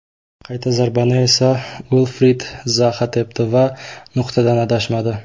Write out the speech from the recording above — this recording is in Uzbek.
Qayta zarbani esa Uilfrid Zaha tepdi va nuqtadan adashmadi.